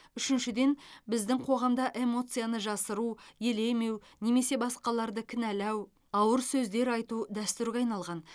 үшіншіден біздің қоғамда эмоцияны жасыру елемеу немесе басқаларды кінәлау ауыр сөздер айту дәстүрге айналған